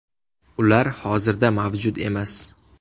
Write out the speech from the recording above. Ular hozirda mavjud emas.